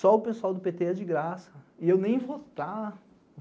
Só o pessoal do pêtê ia de graça, e eu nem votar.